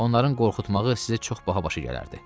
Onların qorxutmağı sizə çox baha başa gələrdi.